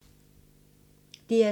DR2